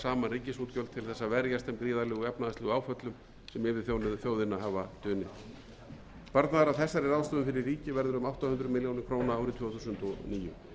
gríðarlegu efnahagslegu áföllum sem yfir þjóðina hafa dunið sparnaður af þessari ráðstöfun fyrir ríkið verður um átta hundruð milljóna króna árið tvö þúsund og níu í þriðja kafla frumvarpsins er lagt til að sveitarfélögum